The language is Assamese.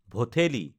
ভঠেলি